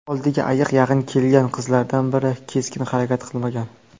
Oldiga ayiq yaqin kelgan qizlardan biri keskin harakat qilmagan.